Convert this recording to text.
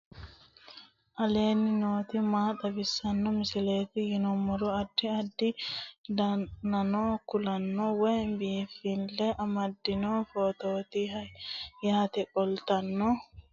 aleenni nooti maa xawisanno misileeti yinummoro addi addi dananna kuula woy biinsille amaddino footooti yaate qoltenno baxissannote xa tenne yannanni togoo footo haara danvchate